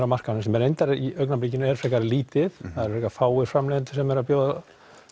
á markaðnum sem er reyndar í augnablikinu frekar lítið það eru fáir framleiðendur að bjóða